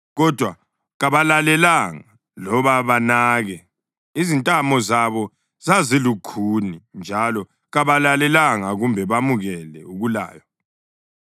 Kodwa kabalalelanga loba banake; izintamo zabo zazilukhuni njalo kabalalelanga kumbe bamukele ukulaywa.